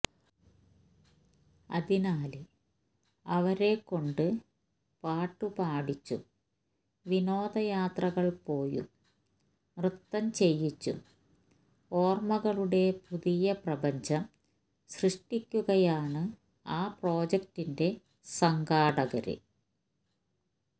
അതിനാല് അവരെക്കൊണ്ട് പാട്ടുപാടിച്ചും വിനോദ യാത്രകള് പോയും നൃത്തം ചെയ്യിച്ചും ഓര്മകളുടെ പുതിയ പ്രപഞ്ചം സൃഷ്ടിക്കുകയാണ് ആ പ്രോജക്ടിന്റെ സംഘാടകര്